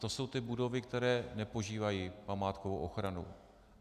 To jsou ty budovy, které nepožívají památkovou ochranu.